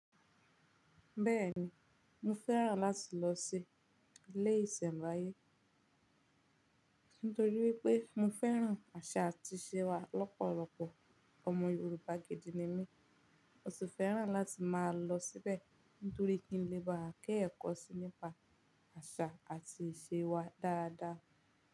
Bẹ́ẹ̀ni, mo fẹ́ràn láti lọ sí ilé ìsẹ̀mbaye nítorí wípé mo fẹ́ràn àṣà àti ìṣe wa lọ́pọ̀lọpọ̀. Ọmọ Yorùbá gidi ni mí, mo sì fẹ́ràn láti máa lọ síbẹ̀ nítorí kí n lè máa ké ẹ̀kọ́ síi nípa àṣà àti ìṣe wa dáadáa.